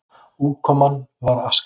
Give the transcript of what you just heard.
Útkoman var aska.